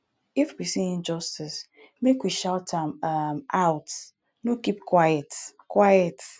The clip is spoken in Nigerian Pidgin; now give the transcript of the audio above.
if we see injustice make we shout am um out no keep quiet quiet